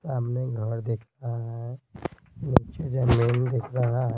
सामने घर दिख रहा है नीचे जमीन दिख रहा है।